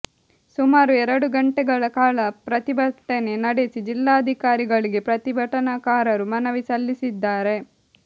ಸುಮಾರು ಎರಡು ಗಂಟೆಗಳ ಕಾಲ ಪ್ರತಿಭಟನೆ ನಡೆಸಿ ಜಿಲ್ಲಾಧಿಕಾರಿಗಳಿಗೆ ಪ್ರತಿಭಟನಾಕಾರರು ಮನವಿ ಸಲ್ಲಿದ್ದಾರೆ